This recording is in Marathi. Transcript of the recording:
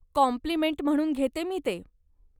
कॉम्प्लिमेंट म्हणून घेते मी ते.